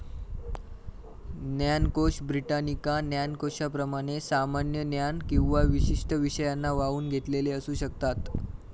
ज्ञानकोशब्रिटानिका ज्ञानकोशाप्रमाणे सामान्य ज्ञान किंवा विशिष्ट विषयांना वाहून घेतलेले असू शकतात.